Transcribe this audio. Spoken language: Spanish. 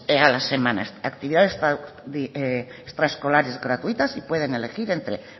a la semana estas actividades extraescolares gratuitas y pueden elegir entre